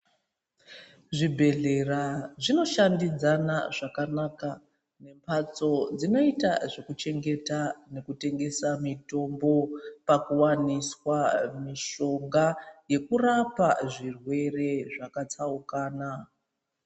Zvibhedhlera zvino shandidzana zvakanaka nemhatso dzinoita zvekuchengeta mitombo pakuwaniswa mishonga yekurapa zvirwere zvakatsaukana.